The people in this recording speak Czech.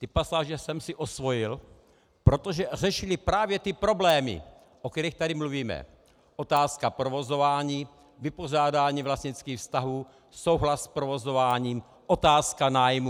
Ty pasáže jsem si osvojil, protože řešily právě ty problémy, o kterých tady mluvíme: otázka provozování, vypořádání vlastnických vztahů, souhlas s provozováním, otázka nájmu.